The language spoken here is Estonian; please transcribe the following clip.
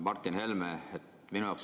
Martin Helme!